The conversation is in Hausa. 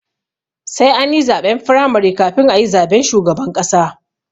Sai ani zaɓen firamare kafin ayi zaben shugaban ƙasa